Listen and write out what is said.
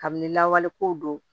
Kabini lawale ko don